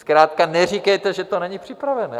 Zkrátka neříkejte, že to není připravené.